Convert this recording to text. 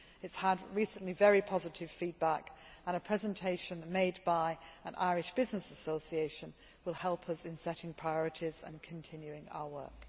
It has recently had very positive feedback, and a presentation made by an Irish business association will help us in setting priorities and continuing our work.